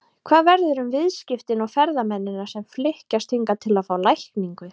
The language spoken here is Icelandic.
Hvað verður um viðskiptin og ferðamennina sem flykkjast hingað til að fá lækningu?